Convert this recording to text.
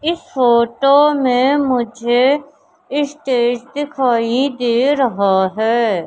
इस फोटो में मुझे स्टेज दिखाई दे रहा है।